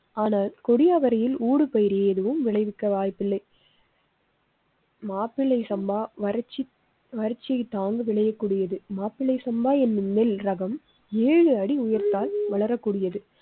ஆனால் கொடி அவரையில் ஊடுபயிர் எதுவும் விளைவிக்க வாய்ப்பில்லை. மாப்பிள்ளை சம்பா வறச்சி வறச்சி தாங்க விளையக்கூடியது. மாப்பிள்ளை சம்பா எனும் நெல் ரகம் ஏழு அடி உயரத்தால் வளரக்கூடியது.